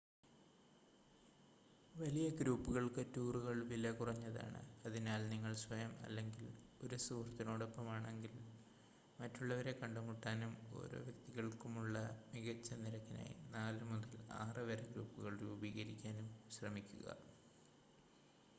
വലിയ ഗ്രൂപ്പുകൾക്ക് ടൂറുകൾ വില കുറഞ്ഞതാണ് അതിനാൽ നിങ്ങൾ സ്വയം അല്ലെങ്കിൽ 1 സുഹൃത്തിനോടൊപ്പമാണെങ്കിൽ മറ്റുള്ളവരെ കണ്ടുമുട്ടാനും ഓരോ വ്യക്തിതികൾക്കുമുള്ള മികച്ച നിരക്കിനായി 4 മുതൽ 6 വരെ ഗ്രൂപ്പുകൾ രൂപീകരിക്കാനും ശ്രമിക്കുക